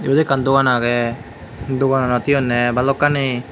iyot ekkan dogan agey dogananot he honney balokkani.